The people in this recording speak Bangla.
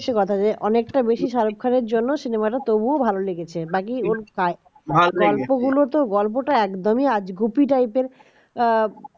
এইটা হচ্ছে কথা অনেকটা বেশি শাহরুখ খানের জন্য cinema টা তবুও ভালো লেগেছে বাকি গল্পগুলো তো গল্পটা একদমই আজগুবি টাইপের